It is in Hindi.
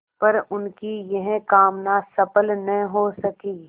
पर उनकी यह कामना सफल न हो सकी